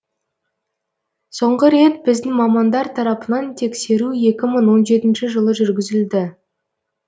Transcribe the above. соңғы рет біздің мамандар тарапынан тексеру екі мың он жетінші жылы жүргізілді